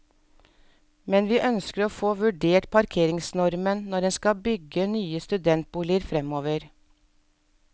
Men vi ønsker å få vurdert parkeringsnormen når en skal bygge nye studentboliger fremover.